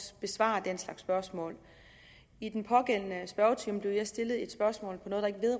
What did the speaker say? besvare den slags spørgsmål i den pågældende spørgetime blev jeg stillet et spørgsmål